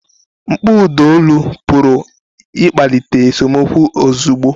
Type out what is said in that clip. Mkpọ ụda olu pụrụ ịkpalite esemokwu ozugbo.